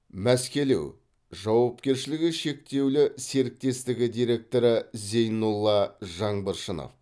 мәскелеу жауапкершілігі шектеулі серіктестігі директоры зейнолла жаңбыршынов